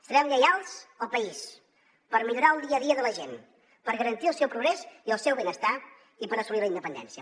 serem lleials al país per millorar el dia a dia de la gent per garantir el seu progrés i el seu benestar i per assolir la independència